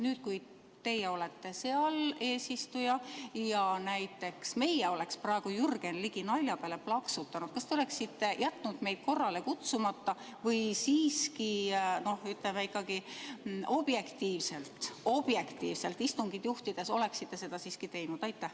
Nüüd, kui teie olete seal eesistuja ja kui näiteks meie oleksime praegu Jürgen Ligi nalja peale plaksutanud, siis kas te oleksite jätnud meid korrale kutsumata või siiski, ütleme, objektiivselt istungit juhtides oleksite seda teinud?